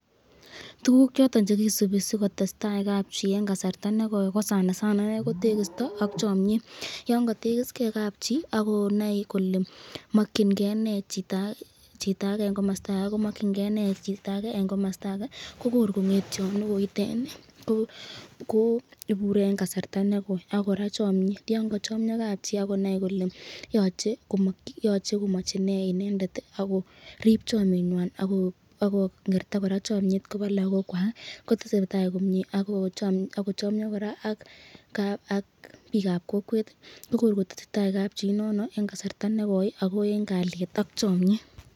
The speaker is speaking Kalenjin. Tukuk choton chekisubi sokotestai kabchi eng kasarta nekoi ko sanasana ko tekisto ak chamyet yon katekis ke kabchi a konai kole makyin ken nee chitake, eng komasata ake komakyinke nee chitake eng komasata ake